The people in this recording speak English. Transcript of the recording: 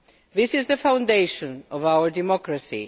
This is the foundation of our democracy.